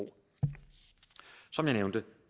som jeg nævnte